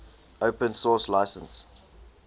open source license